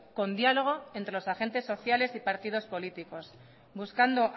con diálogo entre los agentes sociales y partidos políticos buscando